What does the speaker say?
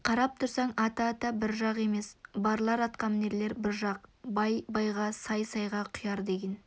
қарап тұрсаң ата-ата бір жақ емес барлар атқамінерлер бір жақ бай байға сай сайға құяр деген